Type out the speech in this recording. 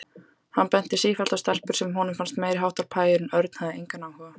Hann benti sífellt á stelpur sem honum fannst meiriháttar pæjur en Örn hafði engan áhuga.